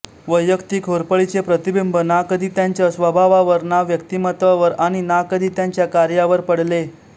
वैयक्तिक होरपळीचे प्रतिबिंब ना कधी त्यांच्या स्वभावावर ना व्यक्तिमत्त्वावर आणि ना कधी त्यांच्या कार्यावर पडले